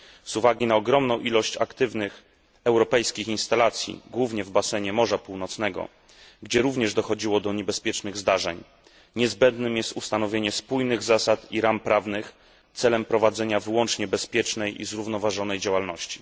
Z uwagi na ogromną ilość aktywnych europejskich instalacji głównie w basenie Morza Północnego, gdzie również dochodziło do niebezpiecznych zdarzeń, niezbędnym jest ustanowienie spójnych zasad i ram prawnych celem prowadzenia wyłącznie bezpiecznej i zrównoważonej działalności.